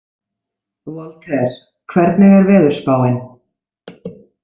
Walter, hvernig er veðurspáin?